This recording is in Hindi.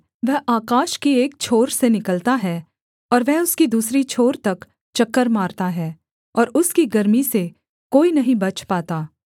वह आकाश की एक छोर से निकलता है और वह उसकी दूसरी छोर तक चक्कर मारता है और उसकी गर्मी से कोई नहीं बच पाता